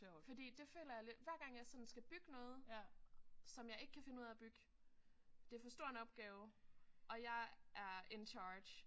Fordi det føler jeg lidt hver gang jeg sådan skal bygge noget som jeg ikke kan finde ud af at bygge det er for stor en opgave og jeg er in charge